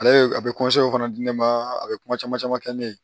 Ale a bɛ o fana di ne ma a bɛ kuma caman caman kɛ ne ye